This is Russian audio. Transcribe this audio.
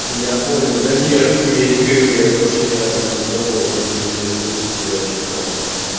я понял да не руки у меня не кривые я просто ещё ни разу не пробовал вот и интересуюсь у тебя что как вообще